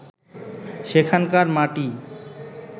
সেখানকার মাটি